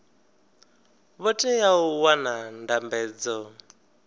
vho teaho u wana ndambedzo